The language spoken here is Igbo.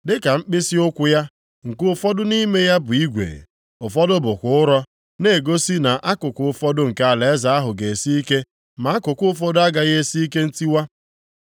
Dịka mkpịsịụkwụ ya, nke ụfọdụ nʼime ya bụ igwe, ụfọdụ bụkwa ụrọ, na-egosi na akụkụ ụfọdụ nke alaeze ahụ ga-esi ike ma akụkụ ụfọdụ agaghị esi ike ntiwa.